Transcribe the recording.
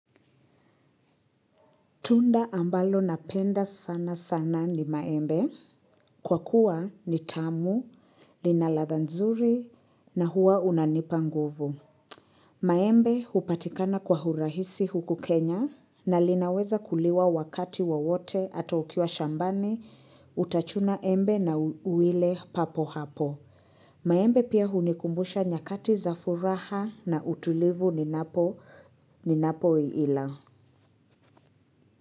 Tunda ambalo napenda sana sana ni maembe kwa kuwa ni tamu, linaladha nzuri na huwa unanipa nguvu. Maembe upatikana kwa hurahisi huku Kenya na linaweza kuliwa wakati wawote ata ukiwa shambani utachuna embe na uwile papo hapo. Maembe pia hunikumbusha nyakati za furaha na utulivu ni napo ila.